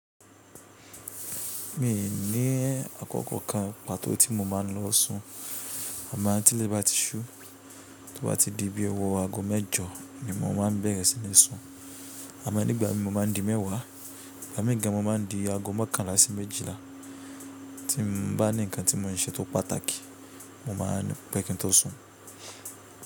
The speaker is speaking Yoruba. Mi ní àkókò kan pàtó tí mo máa ń lọ sùn àmọ́ tí ilẹ̀ bá ti ṣú, tí ó bá ti di bí i ọwọ́ ago mẹ́jọ ni mo ma ń bẹ̀rẹ̀ sí ní sùn. Àmọ́ nígbà mi mo ma ń di mẹ́wàá, ìgbà míì gan mo ma ń di ago mọ́kànlá sí méjìlá tí n bá ní ǹkan tí mo ń ṣe tó pàtàkì mo máa n pẹ́ kí n tó sùn.